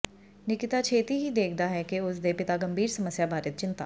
ਨਿਕਿਤਾ ਛੇਤੀ ਹੀ ਦੇਖਦਾ ਹੈ ਕਿ ਉਸ ਦੇ ਪਿਤਾ ਗੰਭੀਰ ਸਮੱਸਿਆ ਬਾਰੇ ਚਿੰਤਾ